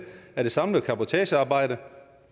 af det samlede cabotagearbejde